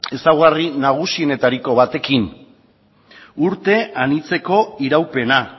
ezaugarri nagusienetariko batekin urte anitzeko iraupena